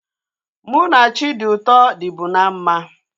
Mụ na Chidiuto dịbu na mma